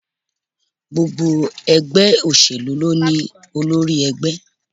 Gbogbo ègbé òṣèlú ni o ní olórí egbé